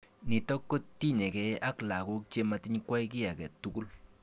Nitok kotinyekei ak lakok chematikwai ki age tugul.